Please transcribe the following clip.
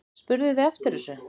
Spurðuð þið eftir þessu?